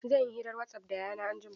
Zan yi hira a wasaf da Yayana anjima.